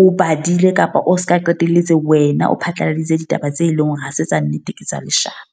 o badile kapa o se ka qetelletse wena o phatlaladitse ditaba tse leng hore ha se tsa nnete ke tsa leshano.